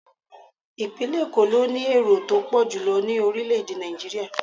Ipinle Eko ló ní èrò tó pọ̀jù ní orile-ede Naijiria.